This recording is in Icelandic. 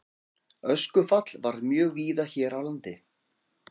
Öskufall varð mjög víða hér á landi.